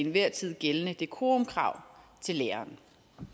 enhver tid gældende dekorumkrav til læreren